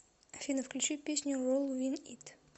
афина включить песню ролл виз ит